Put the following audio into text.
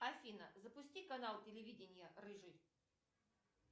афина запусти канал телевидения рыжий